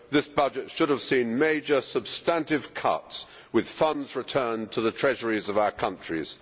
This budget should have seen major substantive cuts, with funds returned to the treasuries of our countries.